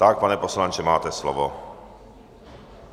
Tak, pane poslanče, máte slovo.